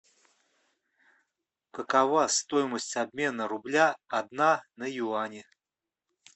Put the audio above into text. какова стоимость обмена рубля одна на юани